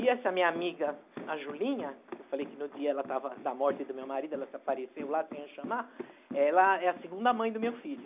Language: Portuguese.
E essa minha amiga, a Julinha, que eu falei que no dia ela estava da morte do meu marido, ela se apareceu lá sem eu chamar, ela é a segunda mãe do meu filho.